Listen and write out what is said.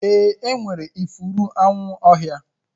Ee, enwere ifuru anwu ọhịa